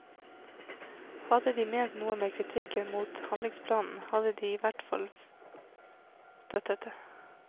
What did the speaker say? Hadde de ment noe med kritikken mot handlingsplanen, hadde de i hvert fall støttet det.